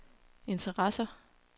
interesser